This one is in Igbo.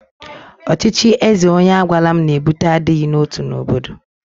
Ọchịchị eze onye agwala m na-ebute adịghị n'otu n'obodo.